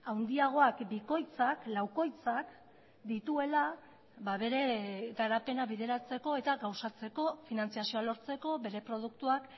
handiagoak bikoitzak laukoitzak dituela bere garapena bideratzeko eta gauzatzeko finantzazioa lortzeko bere produktuak